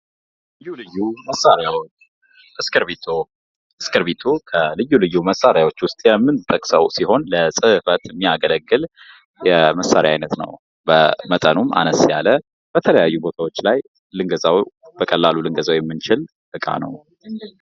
ልዩ ልዩ መሳሪያዎች እስክርቢቶ እስክርቢቶ ከልዩ ልዩ መሳሪያዎች የምንጠቅሰው ሲሆን ለጽህፈት የሚያገለግል የመሳሪያ አይነት ነው። በመጠኑም አነስ ያለ በተለያዩ ቦታዎች ላይም በቀላሉ ልንገዛው የምንችል እቃ ነው።